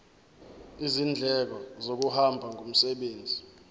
izindleko zokuhamba ngomsebenzi